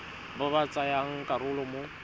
ba ba tsayang karolo mo